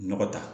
Nɔgɔ ta